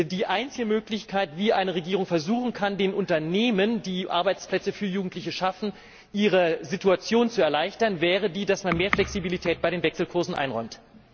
Die einzige Möglichkeit, wie eine Regierung versuchen kann, den Unternehmen, die Arbeitsplätze für Jugendliche schaffen, ihre Situation zu erleichtern, wäre die, dass man mehr Flexibilität bei den Wechselkursen einräumt.